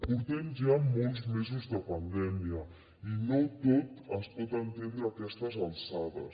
portem ja molts mesos de pandèmia i no tot es pot entendre a aquestes alçades